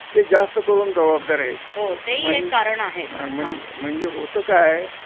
ते जास्त करून जबाबदार आहेत म्हण म्हण म्हणजे होतं काय